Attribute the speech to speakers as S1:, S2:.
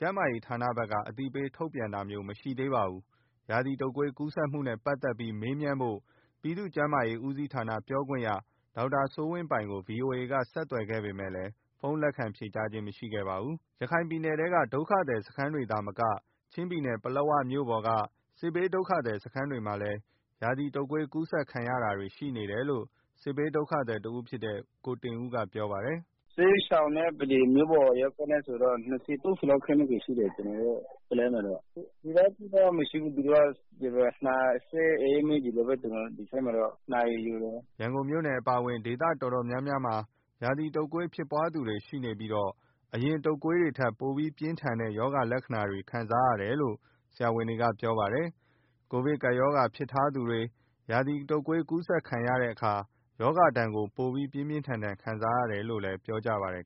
S1: ကျန်းမာရေးဌာနဘက်က အသိပေးထုတ်ပြန်တာမျိုး မရှိသေးပါဘူး။ ရာသီတုပ်ကွေး ကူးစက်မှုတွေနဲ့ ပတ်သက်ပြီး မေးမြန်းဖို့ ပြည်သူ့ကျန်းမာရေးဦးစီးဌာနပြောခွင့်ရ ဒေါက်တာစိုးဝင်းပိုင်ကို ဗွီအိုအေက ဆက်သွယ်ခဲ့ပေမယ့်လည်း ဖုန်းလက်ခံဖြေဆိုခဲ့ခြင်း မရှိပါဘူး။ ရခိုင်ပြည်နယ်ထဲက ဒုက္ခသည်စခန်းတွေမှာသာမကချင်းပြည်နယ် ပလက်ဝမြို့ပေါ်က စစ်ဘေးဒုက္ခသည်စခန်းတွေမှာလည်း ရာသီတုပ်ကွေး ကူးစက်ခံရတာတွေရှိနေတယ်လို့ စစ်ဘေးဒုက္ခသည်တဦးဖြစ်တဲ့ ကိုတင်ဦးကပြောပါတယ်။
S2: “စစ်ရှောင်စခန်းမှာတော့ ၂၀၊ ၃၀ လောက်ရှိတယ်။ ကျနော်တို့ ပလက်ဝမှာတော့ စိုးရိမ် စရာတော့ မရှိပါဘူး။ နှာစေး အအေးမိ ဒီလောက်ပဲ ပြီးတော့ နှာရည်ယိုတယ်။” ရန်ကုန်မ
S1: ြို့အပါအဝင် ဒေသတော်တော်များများမှာ ရာသီတုပ်ကွေးဖြစ်ပွားသူတွေ ရှိနေပြီး အရင် တုပ်ကွေးတွေထက် ပိုပြင်းထန်တဲ့ ရောဂါလက္ခဏာပြကြတယ်လို့ ဆရာဝန်တွေက ပြောပါတယ်။ ကိုဗစ်ကပ်ရောဂါ ဖြစ်ထားသူတွေ ရာသီတုပ်ကွေးကူးစက်တဲ့အခါ ရောဂါဒဏ်ကို ပိုပြီး ပြင်းပြင်းထန်ထန် ခံစားရတယ်လို့လည်း ပြောကြပါတယ်